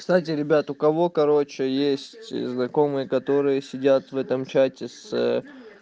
кстати ребята у кого короче есть знакомые которые сидят в этом чате с